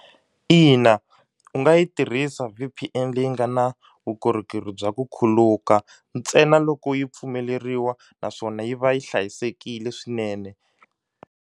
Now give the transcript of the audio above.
Ina, u nga yi tirhisa V_P_N leyi nga na vukorhokeri bya ku khuluka ntsena loko yi pfumeleriwa naswona yi va yi hlayisekile swinene.